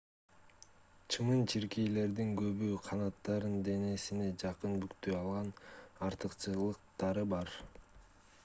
чымын-чиркейлердин көбү канаттарын денесине жакын бүктөй алган артыкчылыктары бар